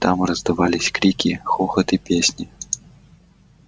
там раздавались крики хохот и песни